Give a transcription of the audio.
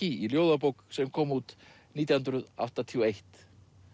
í ljóðabók sem kom út nítján hundruð áttatíu og eitt